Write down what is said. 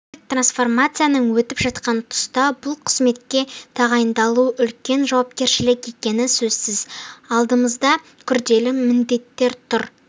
агенттік трансформациядан өтіп жатқан тұста бұл қызметке тағайындалу үлкен жауапкершілік екені сөзсіз алдымызда күрделі міндеттер тұр